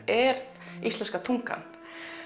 er íslenska tungan